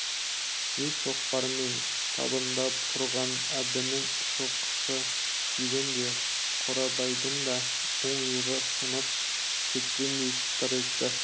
зіл шоқпармен табандап ұрған әбдінің соққысы тигенде қорабайдың да оң иығы сынып кеткендей сытыр етті